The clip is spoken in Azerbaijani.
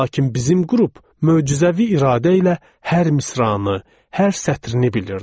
Lakin bizim qrup möcüzəvi iradə ilə hər misranı, hər sətrini bilirdi.